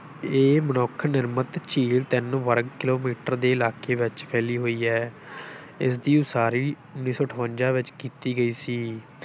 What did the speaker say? ਇਹ ਮਨੁੱਖ ਨਿਰਮਤ ਝੀਲ ਤਿੰਨ ਵਰਗ ਕਿੱਲੋਮੀਟਰ ਦੇ ਇਲਾਕੇ ਵਿੱਚ ਫੈਲੀ ਹੋਈ ਹੈ ਇਸਦੀ ਉਸਾਰੀ ਉੱਨੀ ਸੌ ਅਠਵੰਜਾ ਵਿੱਚ ਕੀਤੀ ਗਈ ਸੀ।